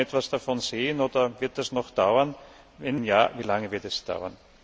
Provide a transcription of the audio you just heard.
Kann man schon etwas davon sehen, oder wird das noch dauern? Wenn ja, wie lange wird es dauern?